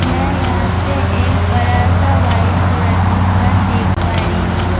میں یھاں پی ایک بڑا سا وائٹ کلر کا گھر دیکھ پا رہی ہو-